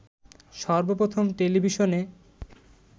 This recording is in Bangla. সর্বপ্রথম টেলিভিশনে